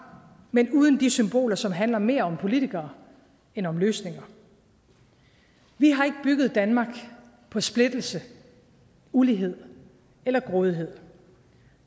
men uden de symboler som handler mere om politikere end om løsninger vi har ikke bygget danmark på splittelse ulighed eller grådighed